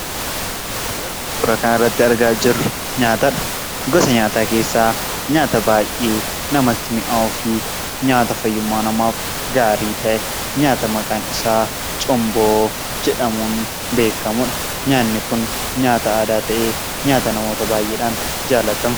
Wanti suuraa kana irratti argaa jirru nyaata dha. Gosa nyaataa keessaa nyaata baay'ee namatti mi'aawuu fi nyaata fayyummaa namaaf gaarii ta'e, nyaata maqaan isaa Cumboo jedhamuun beekkamu dha. Nyaanni kun nyaata aadaa ta'ee nyaata namoota baay'eedhaan jaallatamu.